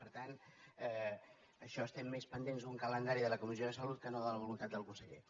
per tant en això estem més pendents d’un calendari de la comissió de salut que no de la voluntat del conseller